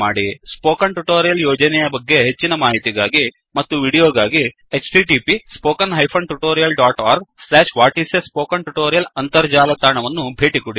spoken tutorial ಯೋಜನೆಯ ಬಗ್ಗೆ ಹೆಚ್ಚಿನ ಮಾಹಿತಿಗಾಗಿ ಮತ್ತು ವೀಡಿಯೋಗಾಗಿ 1 ಅಂತರ್ಜಾಲ ತಾಣವನ್ನು ಭೇಟಿಕೊಡಿ